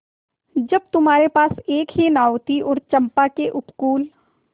जब तुम्हारे पास एक ही नाव थी और चंपा के उपकूल